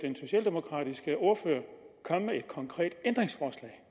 socialdemokratiske ordfører komme med et konkret ændringsforslag